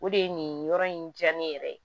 O de ye nin yɔrɔ in diya ne yɛrɛ ye